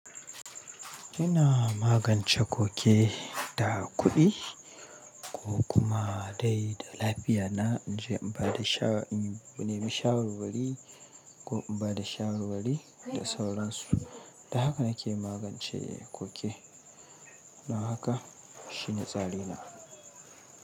Ina magance koke da kuɗi ko kuma dai da lafiya na. In je in ba da shawara, in bi shawara wali ko in ba da shawarwari da sauransu. Da haka nake magance koke, don haka shine tsari na.